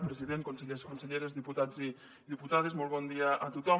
president consellers conselleres diputats i diputades molt bon dia a tothom